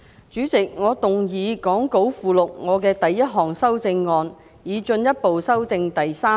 主席，我動議講稿附錄我的第一項修正案，以進一步修正第3條。